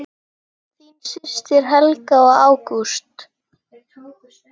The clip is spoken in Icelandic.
Þín systir Helga og Ágúst.